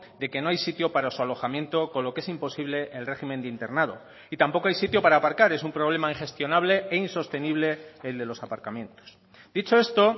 de que no hay sitio para su alojamiento con lo que es imposible el régimen de internado y tampoco hay sitio para aparcar es un problema ingestionable e insostenible el de los aparcamientos dicho esto